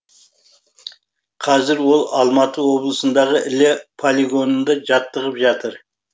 қазір ол алматы облысындағы іле полигонында жаттығып жатыр